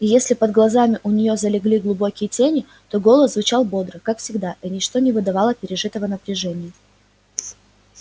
и если под глазами у нее залегли глубокие тени то голос звучал бодро как всегда и ничто не выдавало пережитого напряжения